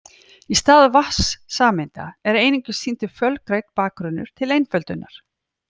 Í stað vatnssameinda er einungis sýndur fölgrænn bakgrunnur til einföldunar.